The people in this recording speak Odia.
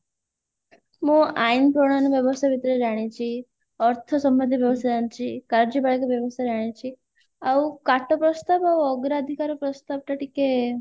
ମୁଁ ଆଇନ ପ୍ରଣାଳୀ ବ୍ୟବସାୟ ବିଷୟରେ ଜାଣିଛି ଅର୍ଥ ସମ୍ବନ୍ଧୀୟ ବ୍ୟବସାୟ ଜାଣିଛି କାର୍ଯ୍ୟକାରିକ ବ୍ୟବସାୟ ଜାଣିଛି ଆଉ କାଟ ପ୍ରସ୍ତାବ ଆଉ ଅଗ୍ରାଧିକାର ପ୍ରସ୍ତାବ ଟା ଟିକେ